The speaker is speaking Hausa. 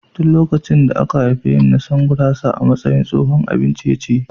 Tun lokacin da aka haife ni na san gurasa a matsayin tsohon abin ciye-ciye.